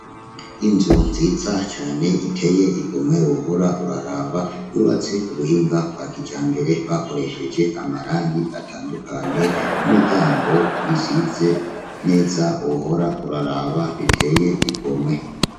Inzu nziza cane iteye igomwe wohora uraraba yubatse kubuhinga bwa kijambere bakoresheje amarangi atandukanye n'imiryango isize neza wohora uraraba iteye igomwe.